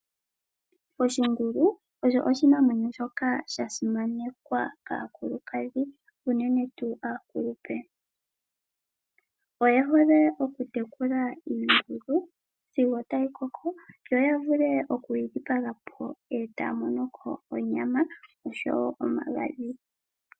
Oshingulu osho oshinamwenyo shoka sha simanekwa kaakulukadhi unene tu aakulupe, oye hole oku tekula iingulu sigo tayi koko yo ya vule okuyi dhi paga po e ta ya mono ko onyama oshowo omagadhi.